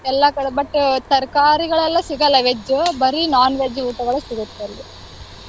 ಎಲ್ಲಾ ಕಡೆ but ಅಹ್ ತರಕಾರಿಗಳೆಲ್ಲಾ ಸಿಗಲ್ಲ veg ಬರೀ non-veg ಊಟಗಳು ಸಿಗುತ್ತೆ ಅಲ್ಲಿ.